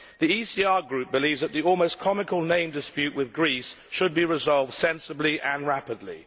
The ECR Group believes that the almost comical name dispute with Greece should be resolved sensibly and rapidly.